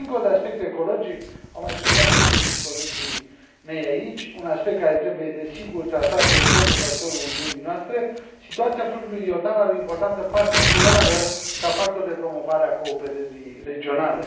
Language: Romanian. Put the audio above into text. Însă, dincolo de aspectul ecologic au mai subliniat o și colegii mei aici un aspect care trebuie desigur tratat de urgență cu ajutorul Uniunii noastre, situația fluviului Iordan are o importanță particulară ca factor de promovare a cooperării regionale.